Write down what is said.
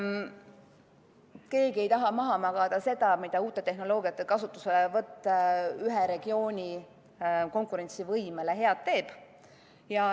Keegi ei taha maha magada seda, mida uute tehnoloogiate kasutuselevõtt ühe regiooni konkurentsivõimele head teeb.